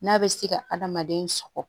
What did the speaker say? N'a bɛ se ka adamaden sɔkɔ